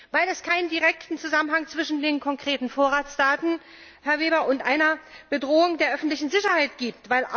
Weil es keinen direkten Zusammenhang zwischen den konkreten Vorratsdaten, Herr Weber, und einer Bedrohung der öffentlichen Sicherheit gibt.